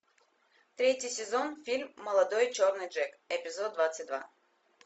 третий сезон фильм молодой черный джек эпизод двадцать два